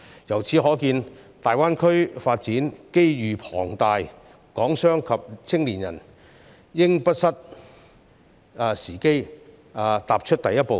由此可見，大灣區發展機遇龐大，港商及青年人應不失時機，踏出第一步。